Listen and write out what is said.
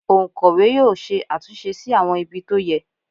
Òǹkọ̀wẹ́ yóò ṣe àtúnṣe sí àwọn ibi tó yẹ